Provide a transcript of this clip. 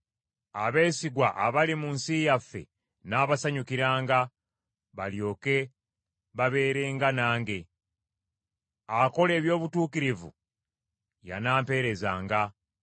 Abeesigwa abali mu nsi yaffe nnaabasanyukiranga, balyoke babeerenga nange; akola eby’obutuukirivu y’anamperezanga.